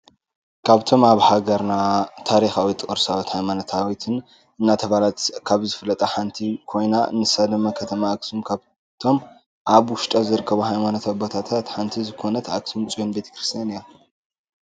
ካብቶም ኣበ ሃገርና ታሪካዊትን ቅርሳዊት ሃይማኖታዊትን እናተባህለት ካብ ዝፍለጣ ሓንቲ ኮይና ንሳ ድማ ከተማ ኣክሱም ካብቶም ኣብ ውሽጣ ዝርከቡ ሃይማኖታው ቦታ ሓንቲ ዝኮነት ኣክሱም ፅዮን ቤተ ክርስትያን እያ።